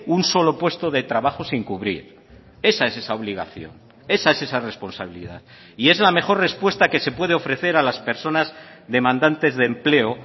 un solo puesto de trabajo sin cubrir esa es esa obligación esa es esa responsabilidad y es la mejor respuesta que se puede ofrecer a las personas demandantes de empleo